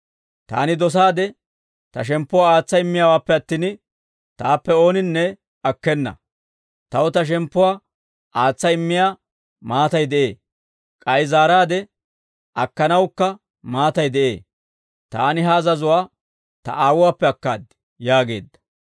Taani dosaade Ta shemppuwaa aatsa immiyaawaappe attin, Taappe ooninne akkena. Taw Ta shemppuwaa aatsa immiyaa maatay de'ee; k'ay zaaraadde akkanawukka maatay de'ee. Taani ha azazuwaa Ta Aawuwaappe akkaad» yaageedda.